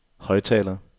højttaler